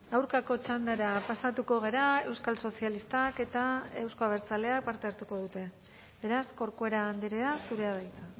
aurkako txandara pasatuko gara euskal sozialistak eta euzko abertzaleak parte hartuko dute beraz corcuera andrea zurea da hitza